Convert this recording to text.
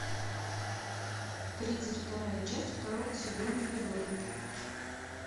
тридцать вторая часть второго сезона тюдоры